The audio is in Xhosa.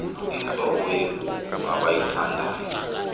intlobo yekuku abayithandayo